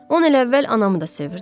On il əvvəl anamı da sevirdim.